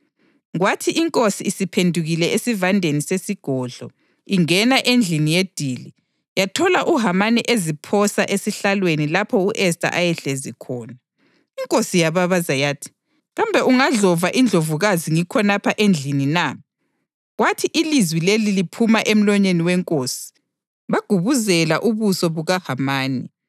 Kwathi inkosi isiphendukile esivandeni sesigodlo ingena endlini yedili, yathola uHamani eziphosa esihlalweni lapho u-Esta ayehlezi khona. Inkosi yababaza yathi, “Kambe ungadlova indlovukazi ngikhonapha endlini na!” Kwathi ilizwi lelo liphuma emlonyeni wenkosi, bagubuzela ubuso bukaHamani.